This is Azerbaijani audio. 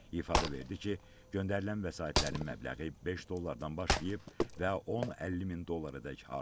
İfadə verdi ki, göndərilən vəsaitlərin məbləği 5 dollardan başlayıb və 10-50 min dollaradək artıb.